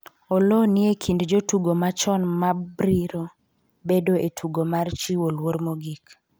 Oloo ni e kind jotugo machon mabriro bedo e tugo mar chiwo luor mogik